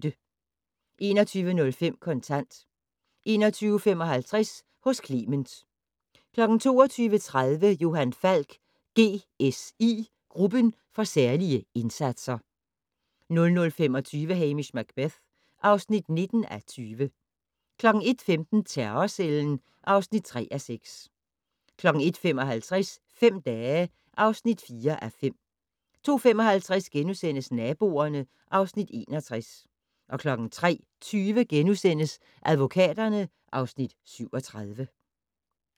21:05: Kontant 21:55: Hos Clement 22:30: Johan Falk: GSI - Gruppen for særlige indsatser 00:25: Hamish Macbeth (19:20) 01:15: Terrorcellen (3:6) 01:55: Fem dage (4:5) 02:55: Naboerne (Afs. 61)* 03:20: Advokaterne (Afs. 37)*